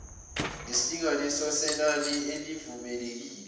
nesilinganiso senani elivumelekile